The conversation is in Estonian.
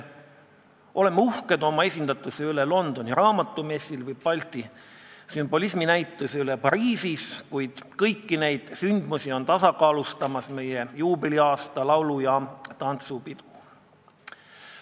Oleme uhked oma esindatuse üle Londoni raamatumessil ja näiteks Balti sümbolismi näituse üle Pariisis, kuid kõiki neid sündmusi tasakaalustab meie juubeliaasta laulu- ja tantsupidu.